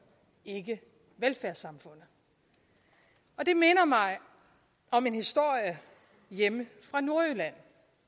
ikke velfærdssamfundet og det minder mig om en historie hjemme fra nordjylland